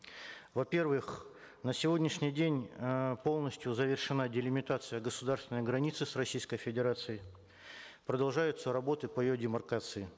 во первых на сегодняшний день э полностью завершена делимитация государственной границы с российской федерацией продолжаются работы по ее демаркации